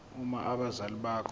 uma abazali bakho